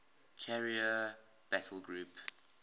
carrier battle group